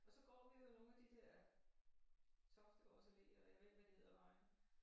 Og så går vi jo af nogle af de der Toftegårds Allé og jeg ved ikke hvad de hedder vejen